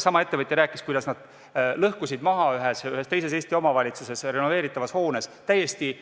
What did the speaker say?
Sama ettevõtja rääkis, kuidas nad lõhkusid ühes teises Eesti omavalitsuses renoveeritavas hoones maha täiesti